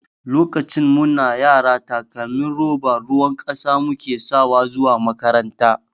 Lokacin mu na yara takalmin roba ruwan ƙasa mu ke sawa zuwa makaranta.